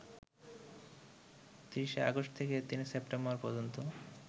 ৩০ August থেকে ৩ September পর্যন্ত